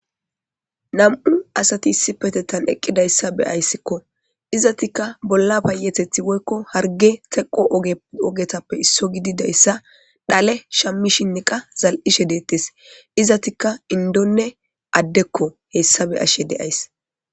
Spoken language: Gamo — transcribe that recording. Na'mu asati issipetettan eqqidayssa beyayssikko izatikka bolla payetethi woyiko harge teqo ogetappe isso gididayssa dhale shammi shinni qa zal'ishe deettes izatikka qa indonne addekko hessa be'ashe deays.